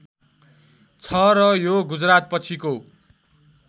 छ र यो गुजरातपछिको